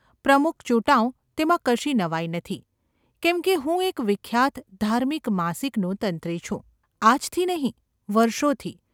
પ્રમુખ ચુંટાવ તેમાં કશી નવાઈ નથી, કેમ કે હું એક વિખ્યાત ધાર્મિક માસિકનો તંત્રી છું– આજથી નહિ, વર્ષોથી.